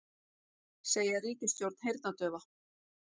Segja ríkisstjórn heyrnardaufa